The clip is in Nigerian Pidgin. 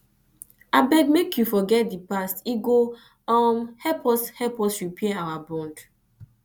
abeg make you forget di past e go help us help us repair our bond